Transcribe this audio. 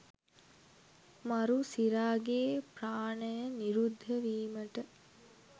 මරු සිරාගේ ප්‍රාණය නිරුද්ධ වීමට